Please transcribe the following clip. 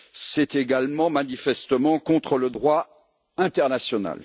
C'est également manifestement contre le droit international.